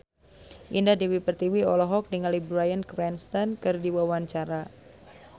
Indah Dewi Pertiwi olohok ningali Bryan Cranston keur diwawancara